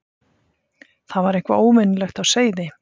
Það var eitthvað óvenjulegt á seyði.